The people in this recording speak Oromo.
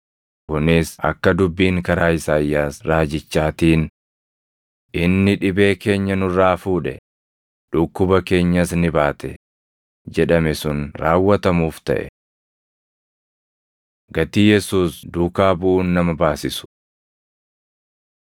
Kunis akka dubbiin karaa Isaayyaas raajichaatiin, “Inni dhibee keenya nurraa fuudhe; dhukkuba keenyas ni baate” + 8:17 \+xt Isa 53:4\+xt* jedhame sun raawwatamuuf taʼe. Gatii Yesuus Duukaa Buʼuun Nama Baasisu 8:19‑22 kwf – Luq 9:57‑60